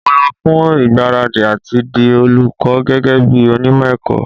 Mo lọ fún ìgbáradì àti di olùkọ́ gẹ́gẹ́ bí onímọ̀ ẹ̀kọ́.